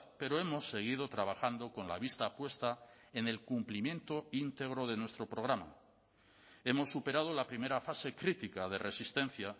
pero hemos seguido trabajando con la vista puesta en el cumplimiento íntegro de nuestro programa hemos superado la primera fase crítica de resistencia